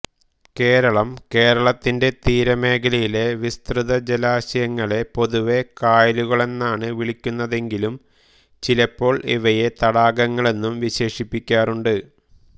കേരളംകേരളത്തിന്റെ തീരമേഖലയിലെ വിസ്തൃത ജലാശയങ്ങളെ പൊതുവേ കായലുകളെന്നാണ് വിളിക്കുന്നതെങ്കിലും ചിലപ്പോൾ ഇവയെ തടാകങ്ങളെന്നും വിശേഷിപ്പിക്കാറുണ്ട്